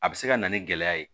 A bɛ se ka na ni gɛlɛya ye